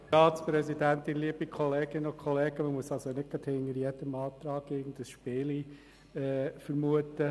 Man muss nicht hinter jedem Antrag irgendein Spielchen vermuten.